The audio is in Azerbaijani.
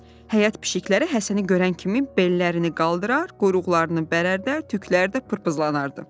Həyət pişiklər Həsəni görən kimi bellərini qaldırar, quyruqlarını bərərdər, tükləri də pırpızlanardı.